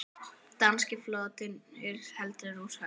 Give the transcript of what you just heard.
Danski flotinn heldur úr höfn!